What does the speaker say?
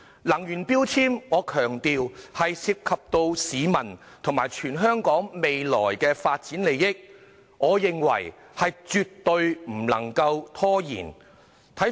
能源標籤涉及市民和全港未來的發展利益，我認為絕對不能拖延。